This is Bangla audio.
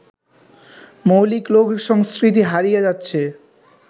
মৌলিক লোকসংস্কৃতি হারিয়ে যাচ্ছে